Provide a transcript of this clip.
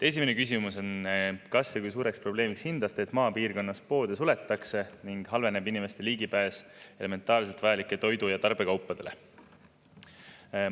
Esimene küsimus on: "Kas ja kui suureks probleemiks hindate, et maapiirkonnas poode suletakse ning ning halveneb inimeste ligipääs elementaarselt vajalike toidu- ja tarbekaupadele?